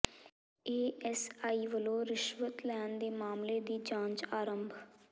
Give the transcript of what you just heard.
ASI ਵੱਲੋਂ ਰਿਸ਼ਵਤ ਲੈਣ ਦੇ ਮਾਮਲੇ ਦੀ ਜਾਂਚ ਆਰੰਭ